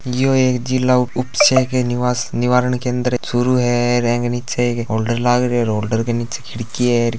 यो एक जिला उप उपक्षय के निवास निवारण केंद्र चूरू है र अंग नीचे एक होल्डर लाग रियो है होल्डर के नीचे खिड़की है।